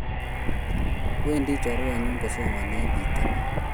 Wendi chorwenyun kosomani en pitanin